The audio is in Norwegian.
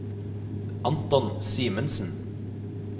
Anton Simensen